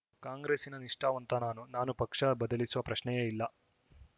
ಕಾಂಗ್ರೆಸ್ಸಿನ ನಿಷ್ಠಾವಂತ ನಾನು ನಾನು ಪಕ್ಷ ಬದಲಿಸುವ ಪ್ರಶ್ನೆಯೇ ಇಲ್ಲ